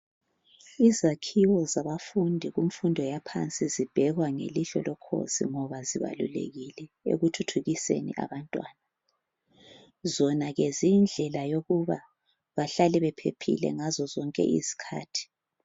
Izakhiwo zabafundi kumfundo yaphansi zibhekwa ngelihlo lokhozi ngoba zibalulekile ekuthuthukiseni abantwana. Zona ke ziyindlela yokuba bahlale bephephile ngazozonke izikhathi